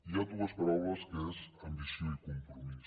hi han dues paraules que són ambició i compromís